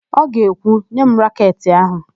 Ọ ga-ekwu, "nye m raketị áhụ̀"!